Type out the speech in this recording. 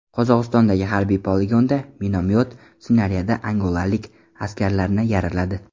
Qozog‘istondagi harbiy poligonda minomyot snaryadi angolalik askarlarni yaraladi.